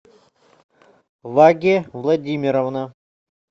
ваге владимировна